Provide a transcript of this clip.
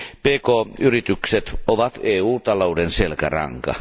Pk yritykset ovat EU talouden selkäranka.